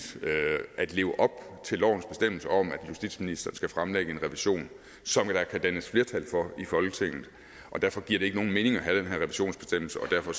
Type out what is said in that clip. at leve op til lovens bestemmelser om at justitsministeren skal fremlægge en revision som der kan dannes flertal for i folketinget og derfor giver det ikke nogen mening at have den her revisionsbestemmelse og derfor